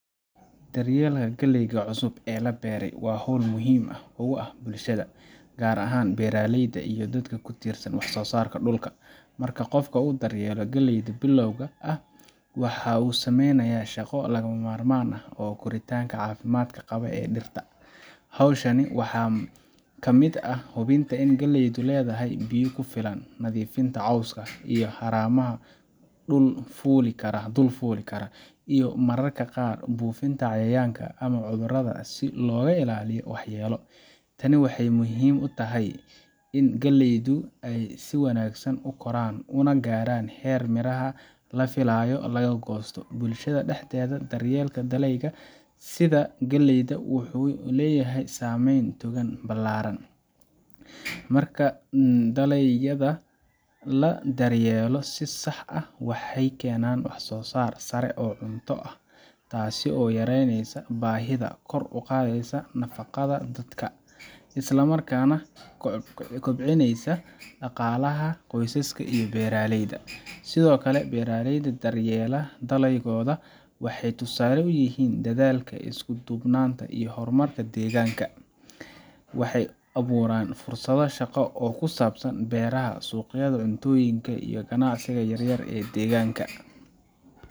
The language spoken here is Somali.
Daryeelka galleyda cusub ee la beelay waa hawl aad muhiim ugu ah bulshada, gaar ahaan beeraleyda iyo dadka ku tiirsan wax soosaarka dhulka. Marka qofka uu daryeelo galleyda bilowga ah, waxa uu sameynayaa shaqo lagama maarmaan u ah koritaanka caafimaad qaba ee dhirta. Hawshan waxaa ka mid ah hubinta in galleydu helayso biyo ku filan, nadiifinta cawska iyo haramaha dul fuuli kara, iyo mararka qaar buufinta cayayaanka ama cudurrada si looga ilaaliyo waxyeelo. Tani waxay muhiim u tahay in galleydu ay si wanaagsan u koraan una gaaraan heerka miraha la filayo laga goosto. Bulshada dhexdeeda, daryeelka dalagyada sida galleyda wuxuu leeyahay saameyn togan ballaaran. Marka dalagyada la daryeelo si sax ah, waxay keenaan wax-soosaar sare oo cunto ah, taasoo yareynaysa baahida, kor u qaadaysa nafaqada dadka, isla markaana kobcinaysa dhaqaalaha qoysaska ee beeraleyda. Sidoo kale, beeraleyda daryeela dalagooda waxay tusaale u yihiin dadaalka, isku duubnanta, iyo horumarka deegaanka. Waxay abuuraan fursado shaqo oo ku saabsan beeraha, suuqyada cuntooyinka, iyo ganacsiga yaryar ee deegaanka.